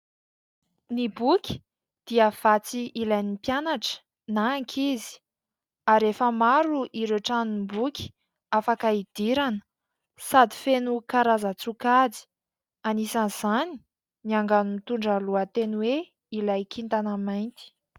Ny boky dia vatsy ilain'ny mpianatra na ankizy ary efa maro ireo tranomboky afaka idirana sady feno karazan-tsokajy anisan'izany ny angano mitondra ny lohateny hoe : ilay « kintana mainty ».